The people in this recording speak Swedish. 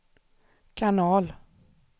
kanal